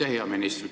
Hea minister!